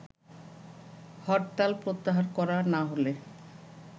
হরতাল প্রত্যাহার করা না হলে